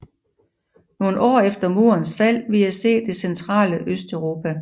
Nogle år efter murens fald ville jeg se det centrale Østeuropa